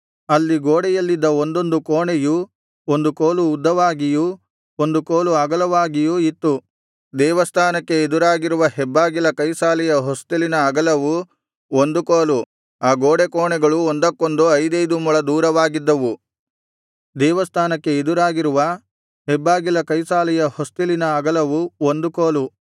ಅಲ್ಲಿ ಗೋಡೆಯಲ್ಲಿದ್ದ ಒಂದೊಂದು ಕೋಣೆಯು ಒಂದು ಕೋಲು ಉದ್ದವಾಗಿಯೂ ಒಂದು ಕೋಲು ಅಗಲವಾಗಿಯೂ ಇತ್ತು ದೇವಸ್ಥಾನಕ್ಕೆ ಎದುರಾಗಿರುವ ಹೆಬ್ಬಾಗಿಲ ಕೈಸಾಲೆಯ ಹೊಸ್ತಿಲಿನ ಅಗಲವು ಒಂದು ಕೋಲು ಆ ಗೋಡೆಕೋಣೆಗಳು ಒಂದಕ್ಕೊಂದು ಐದೈದು ಮೊಳ ದೂರವಾಗಿದ್ದವು ದೇವಸ್ಥಾನಕ್ಕೆ ಎದುರಾಗಿರುವ ಹೆಬ್ಬಾಗಿಲ ಕೈಸಾಲೆಯ ಹೊಸ್ತಿಲಿನ ಅಗಲವು ಒಂದು ಕೋಲು